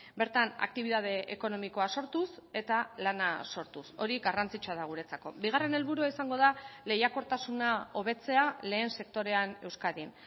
bertan aktibitate ekonomikoa sortuz eta lana sortuz hori garrantzitsua da guretzako bigarren helburua izango da lehiakortasuna hobetzea lehen sektorean euskadin